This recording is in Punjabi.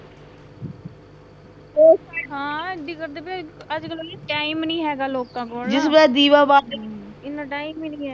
ਹਾਂ, ਅੱਜਕੱਲ ਤਾਂ, ਅੱਜਕੱਲ ਤਾਂ ਟਾਈਮ ਈ ਨੀਂ ਹੈਗਾ ਲੋਕਾਂ ਕੋਲ ਇੰਨਾ ਟਾਈਮ ਈ ਨੀਂ ਐ।